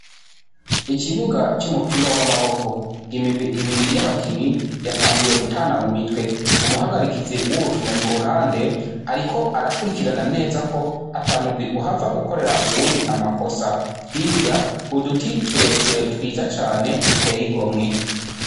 Ikibuga c'umupira w'amaboko imigwi ibiri y'abakinyi yatanguye gutana mu mitwe umuhagarikizi w'urukino ku ruhande, ariko arakurikirana neza ko atamugwi uhava ukorera uwundi amakosa hirya uduti tureture twiza cane duteyigo mwe.